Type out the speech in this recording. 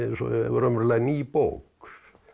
raunverulega ný bók